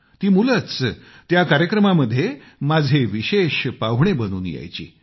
ती मुलंच त्या कार्यक्रमामध्ये माझे विशेष पाहुणे बनून यायची